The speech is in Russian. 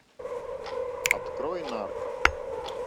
открой нарко